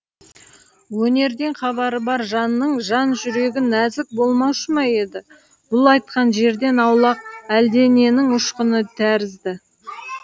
өнерден хабары бар жанның жан жүрегі нәзік болмаушы ма еді бұл айтқан жерден аулақ әлдененің ұшқыны тәрізді